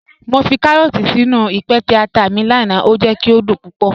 Mọ fi kàrọọ̀tì sínu ìpẹtẹ̀ àtà mi lánà, o jẹ̀ kí o dún púpọ̀.